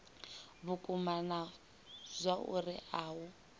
vhukuma na zwauri a u